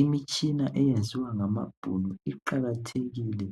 Imitshina eyenziwa ngamabhunu iqakathekile